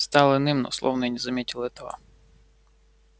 стал иным но словно и не заметил этого